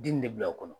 Di nin de bila o kɔnɔ